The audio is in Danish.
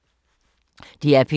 DR P2